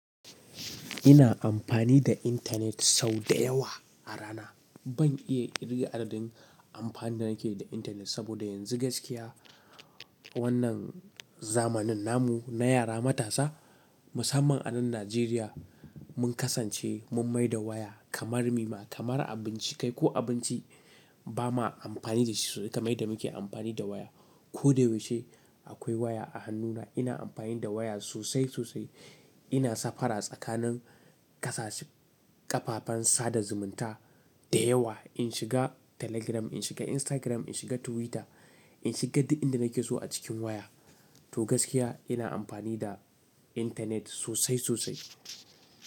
Ina amfani da intanet sau da yawa a rana. Ban iya ƙirga adadin amfanin da nake da intanet saboda yanzu gaskiya wannan zamanin namu na yara matasa musamman a nan Najeriya, mun kasance mun mai da waya kamar mima kamar abinci kai ko abinci ba ma amfani da shi sau da kamar yadda muke amfani da waya. Ko da yaushe akwai waya a hannuna ina amfani da waya sosai sosai. Ina safara tsakanin ƙasashe, ƙafafen sada zumunta da yawa. In shiga Telegram, in shiga Instagram, in shiga Twitter, in shiga duk inda nake so a cikin waya. To gaskiya ina amfani da intanet sosai sosai.